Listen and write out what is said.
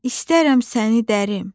İstərəm səni dərim.